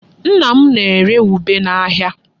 Nna m na-ere ube n'ahịa.